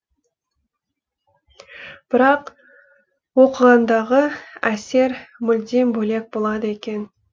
бірақ оқығандағы әсер мүлдем бөлек болады екен